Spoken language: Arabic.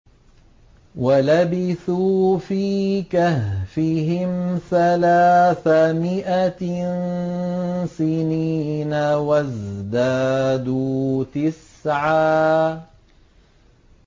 وَلَبِثُوا فِي كَهْفِهِمْ ثَلَاثَ مِائَةٍ سِنِينَ وَازْدَادُوا تِسْعًا